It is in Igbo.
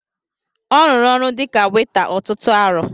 Ọ rụrụ ọrụ dịka weta ọtụtụ arọ